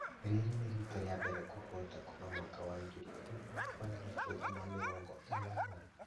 Rĩrĩ nĩ rita rĩambere kũhota kuma mwaka wa ngiri ĩmwe magana kenda ma mĩrongo inana